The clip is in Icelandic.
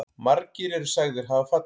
Margir eru sagðir hafa fallið.